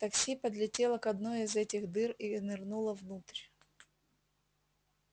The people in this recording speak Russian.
такси подлетело к одной из этих дыр и нырнуло внутрь